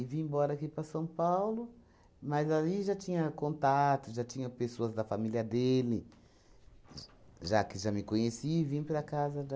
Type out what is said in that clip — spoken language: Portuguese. vim embora aqui para São Paulo, mas aí já tinha contato, já tinha pessoas da família dele, j já que já me conheci, vim para casa da